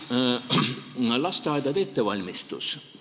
Lasteaedade ettevalmistus.